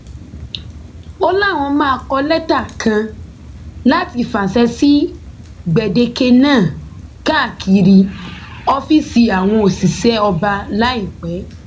ó láwọn máa kọ lẹtà kan láti fàṣẹ sí gbèdéke náà káàkiri ọfíìsì àwọn òṣìṣẹ ọba láìpẹ